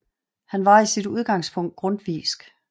Han var i sit udgangspunkt grundtvigsk